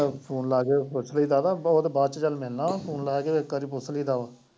phone ਲਾ ਕੇ ਪੁੱਛ ਲਈਦਾ ਉਹ ਤੇ ਬਾਅਦ ਚ ਗੱਲ ਐ ਨਾ phone ਲਾ ਕੇ ਇੱਕ ਵਾਰੀ ਪੁੱਝ ਲਈਦਾ ਵਾ।